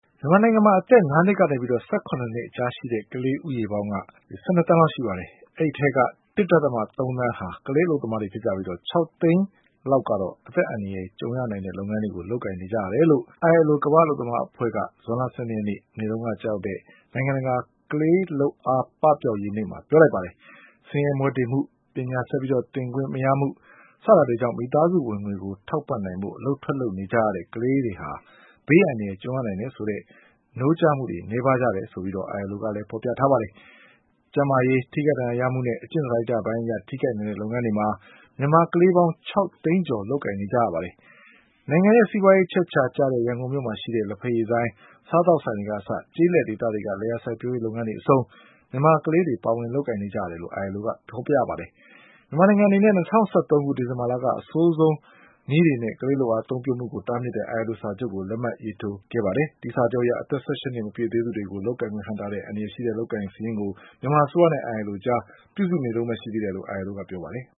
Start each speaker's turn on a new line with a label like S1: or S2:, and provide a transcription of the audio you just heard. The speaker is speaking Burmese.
S1: မြန်မာနိုင်ငံမှာ အသက်၅နှစ်ကနေ ၁၇နှစ်အကြားရှိတဲ့ ကလေးဦးရေပေါင်း ၁၂သန်းရှိပါတယ်။ အဲဒီအထဲက ၁.၃သန်းဟာ ကလေး အလုပ်သမားတွေဖြစ်ပြီး ၆သိန်းလောက်က အသက်အန္တရယ်ကြုံရနိုင်တဲ့လုပ်ငန်းတွေကို လုပ်ကိုင်နေကြရတယ် လို့ ILO ကမ္ဘာ့အလုပ်သမားအဖွဲ့က ဇွန်လ၁၂ရက်နေ့ မနေ့တုန်းက ကျရောက်တဲ့ နိုင်ငံတကာ ကလေးလုပ်အားပပျောက် ရေးနေ့မှာ ပြောလိုက်ပါတယ်။ ဆင်းရဲမွဲတေမှု၊ ပညာဆက်ပြီး သင်ခွင့်မရမှု စတာတွေကြောင့် မိသားစုဝင်ငွေကို ထောက် ပံ့နိုင်ဖို့ အလုပ်ထွက်လုပ်ကြရတဲ့ ကလေးတွေဟာ ဘေးအန္တရာယ်ကြုံရနိုင်တယ်ဆိုတဲ့ နိုးကြားမှုတွေနည်းပါးကြတယ်လို့ ILO ကဖေါ်ပြပါတယ်။ ကျန်းမာရေး၊ ထိခိုက်ဒဏ်ရာရမှုနဲ့ အကျင့်စာရိတ္တပိုင်းအရထိခိုက်နိုင်တဲ့လုပ်ငန်းတွေမှာ မြန်မာ ကလေးပေါင်း ခြောက်သိန်းကျော်လုပ်ကိုင်နေကြရပါတယ်။ နိုင်ငံရဲ့ စီးပွါးရေးအချက်အခြာ ရန်ကုန်မြို့မှာရှိတဲ့ လက်ဘက် ရည်ဆိုင်၊ စားသောက်ဆိုင်တွေကအစ ကျေးလက်ဒေသတွေက လယ်ယာစိုက်ပျိုးရေးလုပ်ငန်းတွေအဆုံး မြန်မာကလေး တွေ ပါဝင်လုပ်ကိုင်နေတယ်လို့ ILOကဖေါ်ပြပါတယ်။ မြန်မာနိုင်ငံအနေနဲ့ ၂၀၁၃ဒီဇင်ဘာလက အဆိုးဆုံးနည်းတွေနဲ့ ကလေးလုပ်အားအသုံးပြုမှုကို တားမြစ်တဲ့ILO စာချုပ်ကို လက်မှတ်ရေးထိုးခဲ့ပါတယ်။ အဲဒီစာချုပ်အရ အသက်၁၈နှစ် မပြည့်သေးသူတွေကို လုပ်ကိုင်ခွင့်ဟန့်တားတဲ့ အန္တရာယ်ရှိတဲ့ အလုပ်အကိုင်တွေစာရင်းကို မြန်မာအစိုးရနဲ့ ILO
S2: အကြား ပြုစုနေတုန်းပဲရှိသေးတယ်လို့ ILOကပြောပါတယ်။